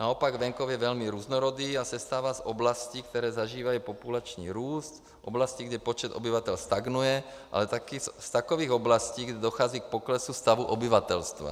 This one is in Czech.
Naopak, venkov je velmi různorodý a sestává z oblastí, které zažívají populační růst v oblasti, kde počet obyvatel stagnuje, ale také z takových oblastí, kde dochází k poklesu stavu obyvatelstva.